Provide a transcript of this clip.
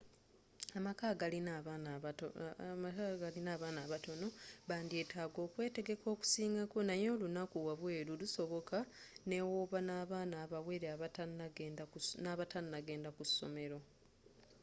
amaka agalina abaana abatono bandyetaaga okwetegeka okusingako naye olunako wabweeru lusoboka nebwoba nabaana abawere n'abatanagenda kusomero